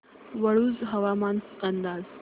वाळूंज हवामान अंदाज